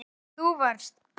Þú varst best.